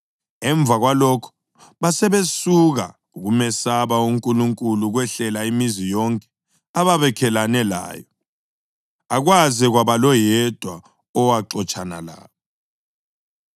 Emva kwalokho basebesuka, ukumesaba uNkulunkulu kwehlela imizi yonke ababakhelane layo, akwaze kwaba loyedwa owaxotshana labo.